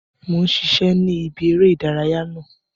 Mo n ṣiṣẹ ni ìbí eré ìdárayá náà.